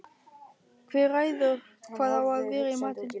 Hver ræður hvað á að vera í matinn?